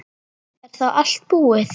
Er þá allt búið?